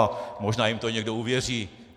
A možná jim to někdo uvěří.